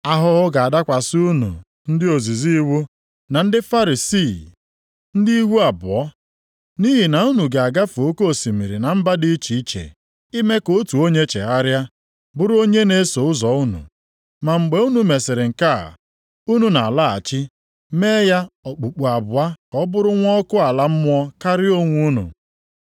“Ahụhụ ga-adakwasị unu ndị ozizi iwu na ndị Farisii, ndị ihu abụọ! Nʼihi na unu na-agafe oke osimiri na mba dị iche iche, ime ka otu onye chegharịa, bụrụ onye na-eso ụzọ unu. Ma mgbe unu mesịrị nke a, unu na-alaghachi mee ya okpukpu abụọ ka ọ bụrụ nwa ọkụ ala mmụọ karịa onwe unu.